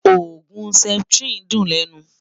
ògún septrin dùn lènú